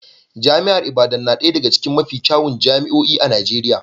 Jami'ar Ibadan na ɗaya daga cikin mafi kyawun jami'o'i a Najeriya